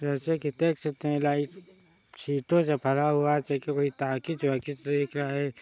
जैसे की देख सकते है लाइट सीटों से भरा हुआ जो की कोई टाकीज वाकीज भी दिख रहा है।